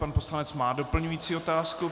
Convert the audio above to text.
Pan poslanec má doplňující otázku.